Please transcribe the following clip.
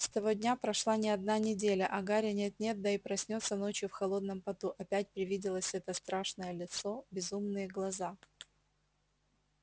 с того дня прошла не одна неделя а гарри нет-нет да и проснётся ночью в холодном поту опять привиделось это страшное лицо безумные глаза